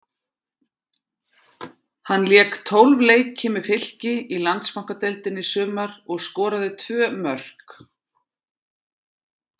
Hann lék tólf leiki með Fylki í Landsbankadeildinni í sumar og skoraði tvö mörk.